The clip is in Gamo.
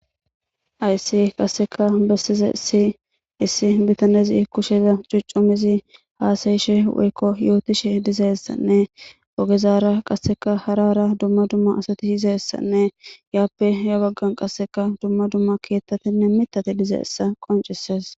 haysi qasseka bessizaysi issi bitanezi kusheza cucumizi haasayishe woykko yootishe dizayessanne ogezaara qasseka harara dumma dumma asati yizayessanne yaappe ya baggan qasseka dumma dumma keettatinne mitati dizaysa qoncises